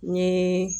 N ye